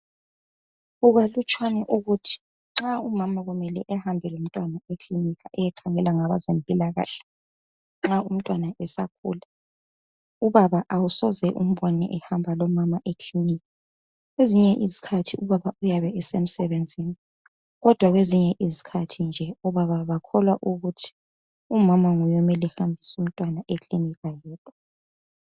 Kukalutshwane ukuthi nxa umama kumele ehambe lomntwana ekilinika eyekhangelwa ngabezempilakahle nxa umntwana esakhula, ubaba awusoze umbone ehamba lomama ekilinika. Kwezinye izikhathi ubaba uyabe esemsebenzini kodwa kwezinye izikhathi nje obaba bakholwa umama nguye omele ehambise umntwana ekilinika yedwa